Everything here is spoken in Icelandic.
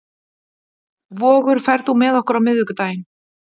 Vogur, ferð þú með okkur á miðvikudaginn?